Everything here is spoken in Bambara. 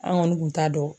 An kɔni kun t'a dɔn